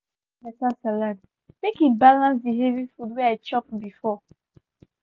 i go prepare better salad make e balance the heavy food wey i chop before.